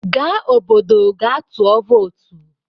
Gaa obodo gaa tụọ vootu!